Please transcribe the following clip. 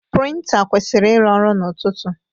Prịnta kwụsịrị ịrụ ọrụ n'ụtụtụ.